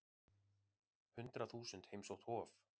Hundrað þúsund heimsótt Hof